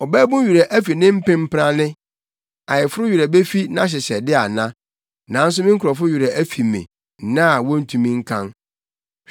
Ɔbabun werɛ fi ne mpempranne, ayeforo werɛ befi nʼahyehyɛde ana? Nanso me nkurɔfo werɛ afi me nna a wontumi nkan.